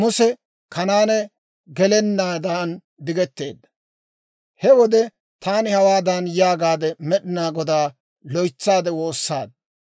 «He wode taani hawaadan yaagaade Med'inaa Godaa loytsaade woossaad;